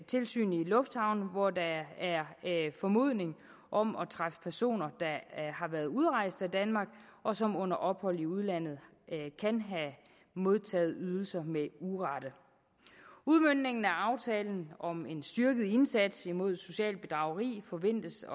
tilsyn i lufthavne hvor der er formodning om at træffe personer der har været udrejst af danmark og som under ophold i udlandet kan have modtaget ydelser med urette udmøntningen af aftalen om en styrket indsats mod socialt bedrageri forventes